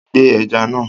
Gbẹ ẹja náà